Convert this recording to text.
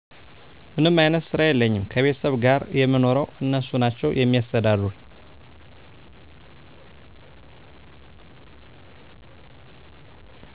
ምንም አይነት ስራ የለኝም ከቤተሰብ ጋር የምኖረው እነሱ ናቸው የሚያስተዳድሩኝ